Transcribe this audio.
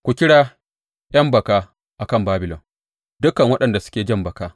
Ku kira ’yan baka a kan Babilon, dukan waɗanda suke jan baka.